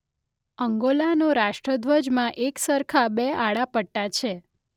અંગોલાનો રાષ્ટ્રધ્વજમાં એકસરખા બે આડા પટ્ટા છે.